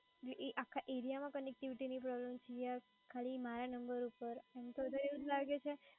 એ આખા area માં connectivity ની problem છે ખાલી મારા નંબર ઉપર